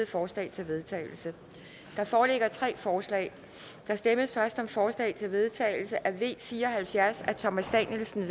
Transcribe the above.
forslag til vedtagelse der foreligger tre forslag der stemmes først om forslag til vedtagelse nummer v fire og halvfjerds af thomas danielsen